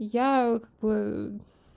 я как бы